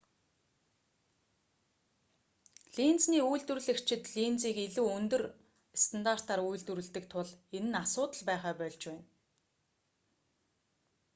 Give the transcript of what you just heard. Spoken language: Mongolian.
линзний үйлдвэрлэгчид линзийг илүү өндөр стандартаар үйлдвэрлэдэг тул энэ нь асуудал байхаа больж байна